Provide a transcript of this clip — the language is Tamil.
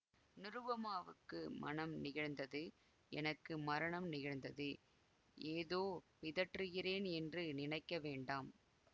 நிருபமாவுக்கு மணம் நிகழ்ந்தது எனக்கு மரணம் நிகழ்ந்தது ஏதோ பிதற்றுகிறேன் என்று நினைக்க வேண்டாம்